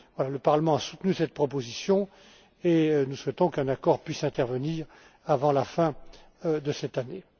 Le Parlement a soutenu cette proposition et nous souhaitons qu'un accord puisse intervenir avant la fin de cette année.